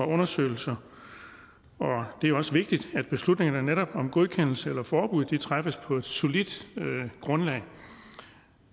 undersøgelser og det er også vigtigt at beslutningen netop om godkendelse eller forbud træffes på et solidt grundlag